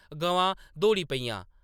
गवां दौड़ी पेइयां ।